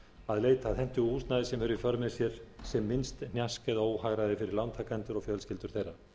að leita að hentugu húsnæði sem hefur í för með sér sem minnst hnjask eða óhagræði fyrir lántakendur og fjölskyldur þeirra